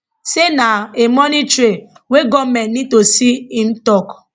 say na a money trail wey goment need to see im tok